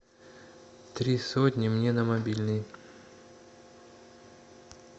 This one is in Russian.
три сотни мне на мобильный